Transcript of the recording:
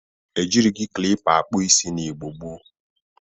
E jirighi klipa akpụ isi na Igbo gboo.